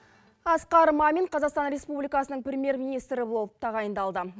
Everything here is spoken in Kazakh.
асқар мамин қазақстан республикасының премьер министрі болып тағайындалды